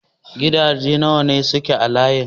Gidaje nawa ne suke a layin ku?